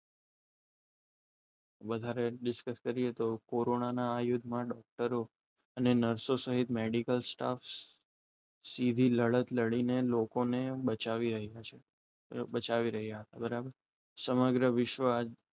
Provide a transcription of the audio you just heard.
વધારે discuss કરીએ તો કોરોનાના એક અને મેડિકલ સ્ટાફ સીધી લડીને લોકોને બચાવ્યો રહે છે બચાવી રહ્યા હતા બરાબર સમગ્ર વિશ્વ